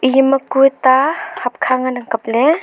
ema kue ta ham kha ngan ang kap ley.